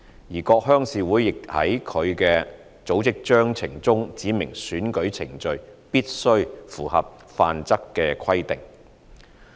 而各鄉事會亦在其組織章程中指明選舉程序必須符合《範則》的規定。